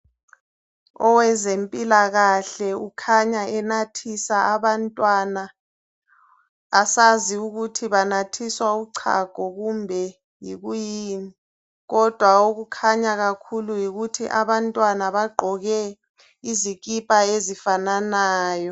Owezempilakahle ukhanya enathisa abantwana, asazi ukuthi banathiswa uchago kumbe yikuyini kodwa okukhanya kakhulu yikuthi abantwana bagqoke izikipa ezifananayo.